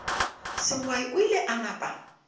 sengwai o ile a napa